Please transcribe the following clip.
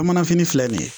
Bamananfini filɛ nin ye